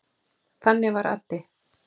Þannig var Addi.